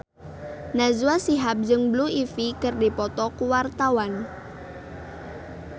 Najwa Shihab jeung Blue Ivy keur dipoto ku wartawan